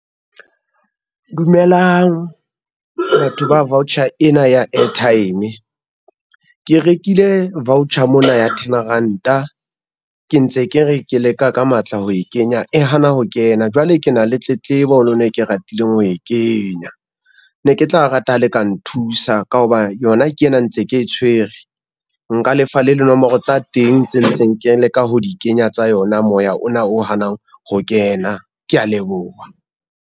Dumelang, batho ba voucher ena ya airtime. Ke rekile voucher mona ya ten ranta, ke ntse ke re ke leka ka matla ho e kenya, e hana ho kena jwale ke na le tletlebo ho lona, e ke ratileng ho e kenya. Ne ke tla rata ha le ka nthusa ka ho ba yona ke yena ntse ke e tshwere, nka lefa le dinomoro tsa teng tse ntseng ke leka ho di kenya tsa yona moya ona o hanang ho kena, kea leboha.